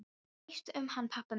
Hvað veist þú um hann pabba minn?